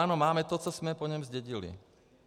Ano, máme to, co jsme po něm zdědili.